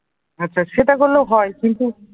আচ্ছা সেটা করলেও হয় কিন্তু